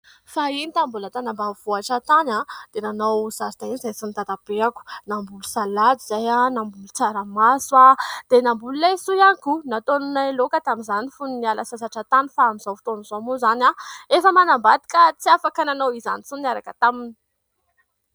Fahiny tamin'ny mbola tany ambanivohitra tany dia nanao zaridaina izahay sy ny Dadabeako. Namboly salady izahay, namboly tsaramaso dia namboly laisoa ihany koa nataonay laoka tamin'izany fony niala sasatra tany ; fa amin'izao fotona izao moa izany efa manambady ka tsy afaka nanao izany intsony niaraka taminy.